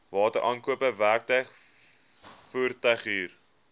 wateraankope werktuig voertuighuur